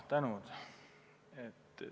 Tänan!